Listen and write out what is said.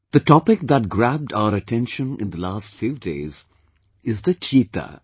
The topic that grabbed our attention in the last few days is the Cheetah